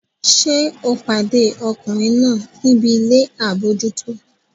Ṣé o pàdé ọkùnrin náà níbi ilé àbójútó?